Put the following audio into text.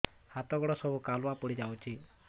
ହାତ ଗୋଡ ସବୁ କାଲୁଆ ପଡି ଯାଉଛି